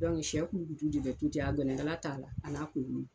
sɛ kulukutu de bɛ tobi a gɛnɛkala t'a la a n'a kunkolo